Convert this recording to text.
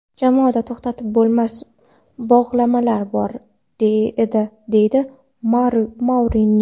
Jamoada to‘xtatib bo‘lmas bog‘lamlar bor edi”, deydi Mourinyo.